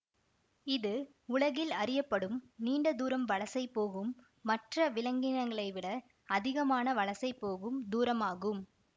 இது உலகில் அறியப்படும் நீண்ட தூரம் வலசை போகும் மற்ற விலங்கினங்களை விட அதிகமான வலசை போகும் தூரமாகும்